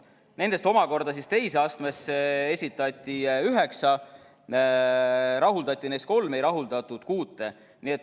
Nendest omakorda teise astmesse esitati üheksa, rahuldati neist kolm, ei rahuldatud kuute.